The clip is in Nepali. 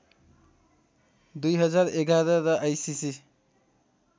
२०११ र आइसिसी